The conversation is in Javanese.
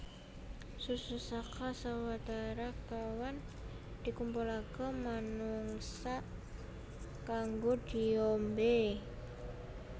Susu saka sawetara kéwan dikumpulaké manungsa kanggo diombé